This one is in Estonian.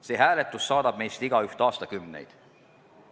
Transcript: See hääletus saadab meist igaüht aastakümneid.